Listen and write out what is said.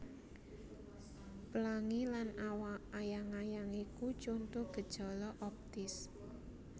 Plangi lan ayang ayang iku conto gejala optis